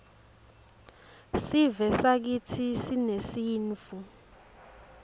sivesakitsi sinesintfu